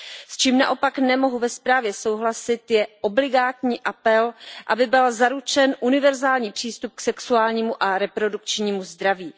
S čím naopak nemohu ve zprávě souhlasit, je obligátní apel, aby byl zaručen univerzální přístup k sexuálnímu a reprodukčnímu zdraví.